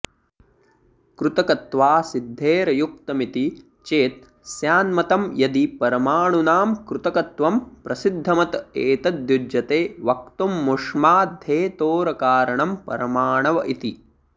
कृतकत्वासिद्धेरयुक्तमिति चेत् स्यान्मतं यदि परमाणूनां कृतकत्वं प्रसिद्धमत एतद्युज्यते वक्तुममुष्माद्धेतोरकारणं परमाणव इति